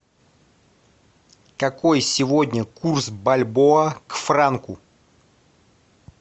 какой сегодня курс бальбоа к франку